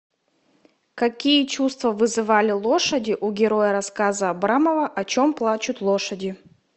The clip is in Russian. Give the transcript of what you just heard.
какие чувства вызывали лошади у героя рассказа абрамова о чем плачут лошади